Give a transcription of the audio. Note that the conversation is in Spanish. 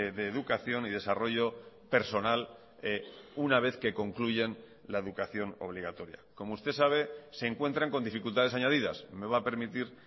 de educación y desarrollo personal una vez que concluyen la educación obligatoria como usted sabe se encuentran con dificultades añadidas me va a permitir